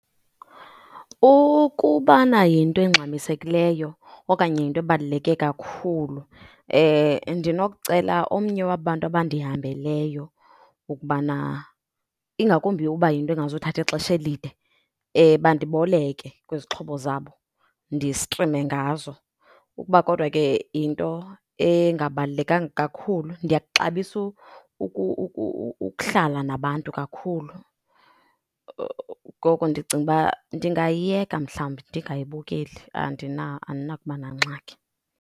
Ukubana yinto engxamisekileyo okanye yinto ebaluleke kakhulu ndinokucela omnye waba bantu abandihambeleyo ukubana, ingakumbi uba yinto engazuthatha ixesha elide, bandiboleke kwizixhobo zabo distrime ngazo. Ukuba kodwa ke yinto engabalulekanga kakhulu, ndiyakuxabisa ukuhlala nabantu kakhulu, ngoko ndicinga uba ndingayiyeka mhlawumbi ndingayibukeli. Andinakuba nangxaki.